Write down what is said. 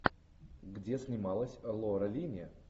где снималась лора линни